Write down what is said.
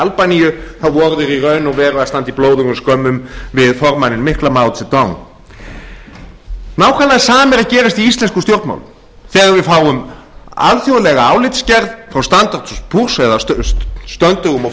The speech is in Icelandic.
albaníu voru þeir í raun og veru að standa í blóðugum skömmum við formanninn mikla maó hve dag nákvæmlega sama er að gerast í íslenskum stjórnmálum þegar við fáum alþjóðlega álitsgerð frá standards og eða stöndugum og